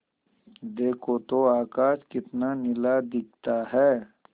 देखो तो आकाश कितना नीला दिखता है